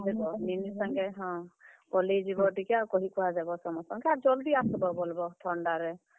ନୀନି ସାଙ୍ଗେ ହଁ, ପଲେଇ ଯିବ ଟିକେ ଆଉ କହିକୁହା ଦେବ ଟିକେ ସମ୍ ସ୍ତଙ୍କେ ଆର୍ ଜଲ୍ ଦି ଆସବ ବଲ୍ ବ ଥଣ୍ଡା ରେ।